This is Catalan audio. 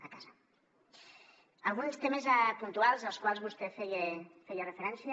alguns temes puntuals als quals vostè feia referència